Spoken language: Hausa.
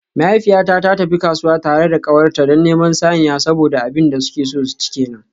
Mahaifiyata ta tafi kasuwa tare da kawarta don neman saniya saboda abin da suke so su ci kenan.